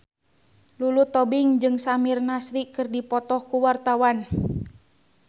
Lulu Tobing jeung Samir Nasri keur dipoto ku wartawan